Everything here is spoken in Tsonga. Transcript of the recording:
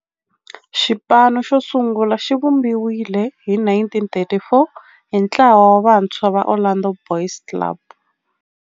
Xipano xosungula xivumbiwile hi 1934 hi ntlawa wa vantshwa va Orlando Boys Club.